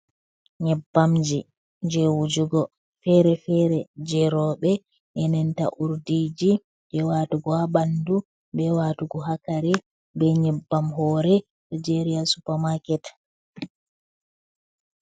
Nyebbamji, je wujugo fere-fere, je rewɓe enenta urdiji je watugo ha ɓandu be watugo ha kare be nyebbam hore, ɗo jeri ha supamaket.